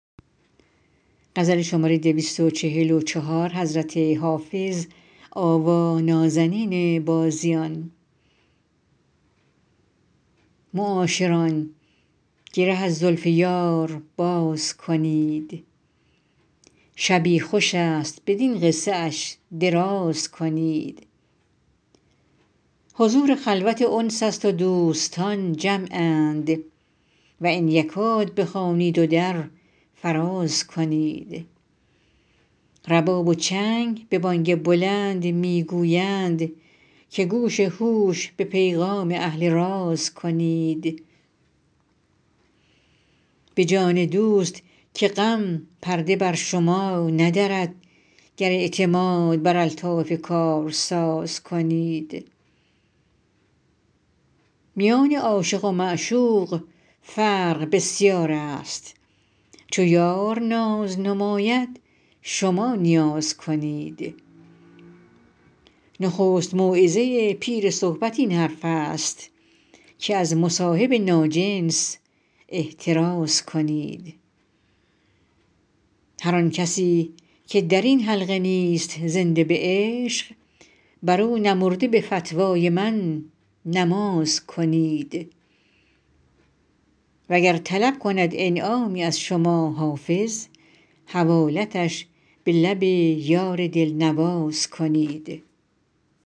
معاشران گره از زلف یار باز کنید شبی خوش است بدین قصه اش دراز کنید حضور خلوت انس است و دوستان جمعند و ان یکاد بخوانید و در فراز کنید رباب و چنگ به بانگ بلند می گویند که گوش هوش به پیغام اهل راز کنید به جان دوست که غم پرده بر شما ندرد گر اعتماد بر الطاف کارساز کنید میان عاشق و معشوق فرق بسیار است چو یار ناز نماید شما نیاز کنید نخست موعظه پیر صحبت این حرف است که از مصاحب ناجنس احتراز کنید هر آن کسی که در این حلقه نیست زنده به عشق بر او نمرده به فتوای من نماز کنید وگر طلب کند انعامی از شما حافظ حوالتش به لب یار دل نواز کنید